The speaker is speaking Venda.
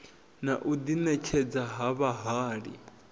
na u ḓiṋetshedza sa vhahali